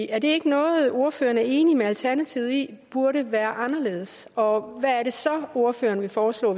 er det ikke noget ordføreren er enig med alternativet i burde være anderledes og hvad er det så ordføreren vil foreslå